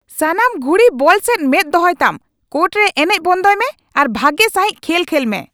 ᱥᱟᱱᱟᱢ ᱜᱷᱩᱲᱤ ᱵᱚᱞ ᱥᱮᱡ ᱢᱮᱫ ᱫᱚᱦᱚᱭᱛᱟᱢ ! ᱠᱳᱨᱴ ᱨᱮ ᱮᱱᱮᱡ ᱵᱚᱱᱫᱚᱭ ᱢᱮ ᱟᱨ ᱵᱷᱟᱜᱮ ᱥᱟᱹᱦᱤᱡ ᱠᱷᱮᱞ ᱠᱷᱮᱞᱢᱮ ᱾